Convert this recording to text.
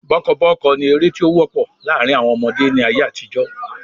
Bọ́kọ́bọ́ọ́kọ́ ni ère tí ó wọ́pọ̀ láàrín àwọn ọmọdé ni ayé àtijọ́